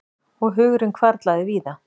Og hugurinn hvarflaði víða.